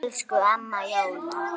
Elsku Amma Jóna.